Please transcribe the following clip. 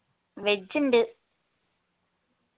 veg ഇണ്ട്